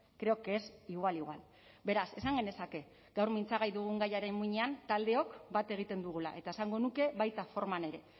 creo que es igual igual beraz esan genezake gaur mintzagai dugun gaiaren muinean taldeok bat egiten dugula eta esango nuke baita forman ere